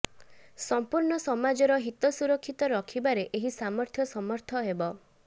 ସମ୍ପୂର୍ଣ୍ଣ ସମାଜର ହିତ ସୁରକ୍ଷିତ ରଖିବାରେ ଏହି ସାମର୍ଥ୍ୟ ସମର୍ଥ ହେବ